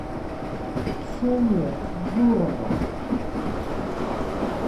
ксения бурова